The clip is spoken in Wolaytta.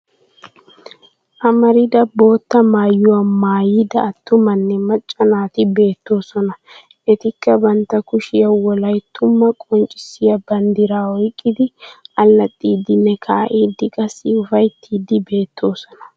Amarida bootta maayuwa maayida attumanne macca naati beettoosona. Etikka bantta kushiya wolayttumaa qonccissiya banddiraa oyqqiddi allaxxiiddinne ka'iiddi qassi ufayttiiddi beettoosona.